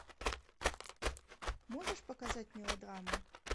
можешь показать мелодраму